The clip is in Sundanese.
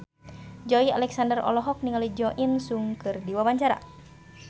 Joey Alexander olohok ningali Jo In Sung keur diwawancara